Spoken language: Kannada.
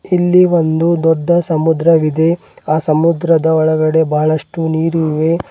ಇಲ್ಲಿ ಒಂದು ದೊಡ್ಡ ಸಮುದ್ರವಿದೆ ಆ ಸಮುದ್ರದ ಓಳಗಡೆ ಬಹಳಷ್ಟು ನೀರು ಇವೆ.